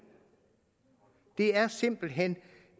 det er simpelt hen